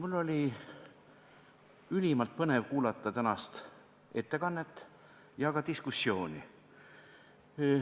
Mul oli ülimalt põnev kuulata tänast ettekannet ja ka diskussiooni.